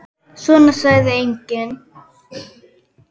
Svona sagði enginn.